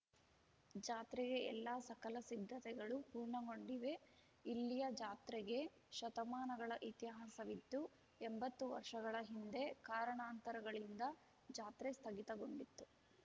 ಜಾತ್ರೆಗೆ ಎಲ್ಲ ಸಕಲ ಸಿದ್ದತೆಗಳು ಪೂರ್ಣಗೊಂಡಿವೆ ಇಲ್ಲಿಯ ಜಾತ್ರೆಗೆ ಶತಮಾನಗಳ ಇತಿಹಾಸವಿದ್ದು ಎಂಬತ್ತು ವರ್ಷಗಳ ಹಿಂದೆ ಕಾರಣಾಂತರಗಳಿಂದ ಜಾತ್ರೆ ಸ್ಥಗಿತಗೊಂಡಿತ್ತು